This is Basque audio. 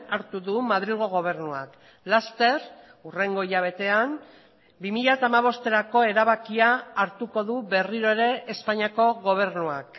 hartu du madrilgo gobernuak laster hurrengo hilabetean bi mila hamabosterako erabakia hartuko du berriro ere espainiako gobernuak